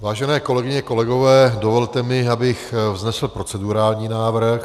Vážené kolegyně, kolegové, dovolte mi, abych vznesl procedurální návrh.